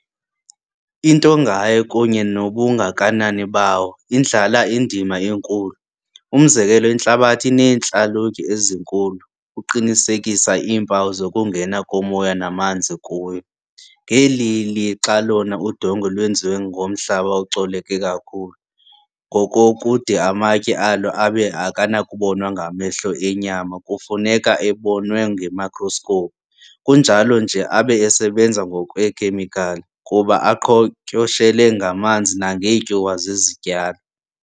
Into ngaye, kunye nobungakanani bayo, indlala indima enkulu. umzekelo, intlabathi ineentlalutye ezinkulu, uqinisekisa iimpawu zokungena komoya namanzi kuwo, ngeli lixa lona udongwe lwenziwe ngomhlaba ocoleke kakhulu, ngokokude amatye alo abe akanakubonwa ngamehlo enyama kufuneka ebonwe ngemicroscope, kunjalo nje abe esebenza ngokwekhemical, kuba aqhotyoshele ngamanzi nangeetyuwa zezityalo.